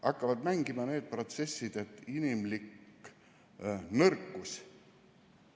Hakkavad mängima need protsessid, inimlik nõrkus.